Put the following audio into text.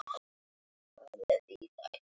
Tíminn heldur áfram að líða.